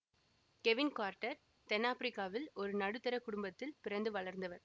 Kevin Carter தென் ஆப்பிரிக்காவில் ஒரு நடுத்தர குடும்பத்தில் பிறந்து வளர்ந்தவர்